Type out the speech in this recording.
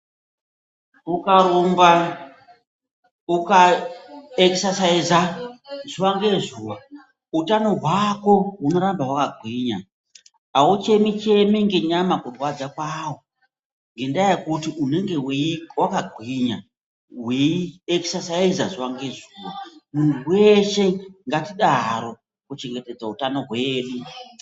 Ukarumba, uka ekisasaiza utano zuwa ngezuwa hwako hunoramba hwakagwinya auchemi chemi ngenyama kurwadza kwayo ngendaa yekuti unenge wakagwinya weiekisasaiza zuwa ngezuwa. Munhu weshe ngatidaro kuchengetedza hutano hwedu.